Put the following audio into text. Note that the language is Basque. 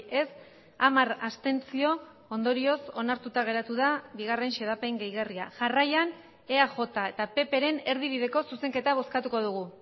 ez hamar abstentzio ondorioz onartuta geratu da bigarren xedapen gehigarria jarraian eaj eta ppren erdibideko zuzenketa bozkatuko dugu